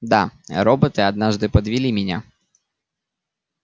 да роботы однажды подвели меня